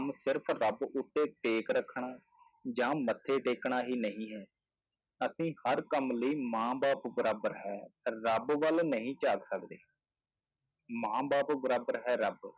ਸਿਰਫ਼ ਰੱਬ ਉੱਤੇ ਟੇਕ ਰੱਖਣਾ ਜਾਂ ਮੱਥੇ ਟੇਕਣਾ ਹੀ ਨਹੀਂ ਹੈ ਅਤੇ ਹਰ ਕੰਮ ਲਈ ਮਾਂ ਬਾਪ ਬਰਾਬਰ ਹੈ ਰੱਬ ਵੱਲ ਨਹੀਂਂ ਝਾਕ ਸਕਦੇ ਮਾਂ ਬਾਪ ਬਰਾਬਰ ਹੈ ਰੱਬ